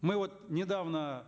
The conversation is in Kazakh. мы вот недавно